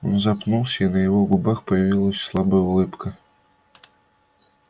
он запнулся и на его губах появилась слабая улыбка